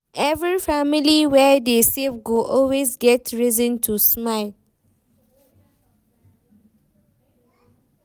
Every family wey dey save go always get reason to smile.